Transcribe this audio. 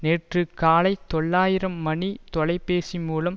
நேற்று காலை தொள்ளாயிரம் மணி தொலை பேசி மூலம்